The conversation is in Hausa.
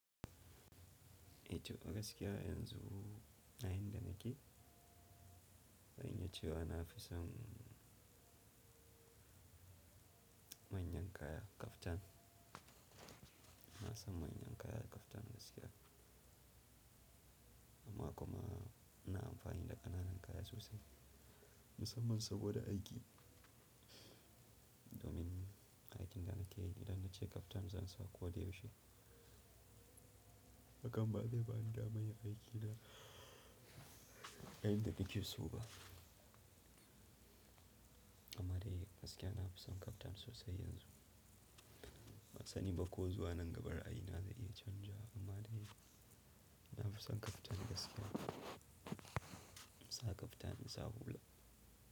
Eh to a gaskiya yanzu na in da nake, zan iya cewa na fi son manyan kaya kaftan. Na san manyan kaya kaftan gasiya. Amma kuma ina amfani da ƙananan kaya sosai, musamman saboda aiki. Domin aikin da nake yi idan na ce kaftan zan sa ko da yaushe. Hakan ba zai ba ni damar aiki na irin yadda nake so ba. Amma dai gaskiya na fi son kaftan sosai yanzu. Ban sani ba ko zuwa nan gaba ra'ayi na zai iya canja amma dai na fi son kaftan gaskiya. Na sa kaftan na sa hula.